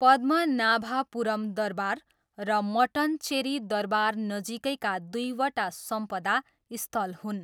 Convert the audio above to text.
पद्मनाभपुरम दरबार र मट्टनचेरी दरबार नजिकैका दुईवटा सम्पदा स्थल हुन्।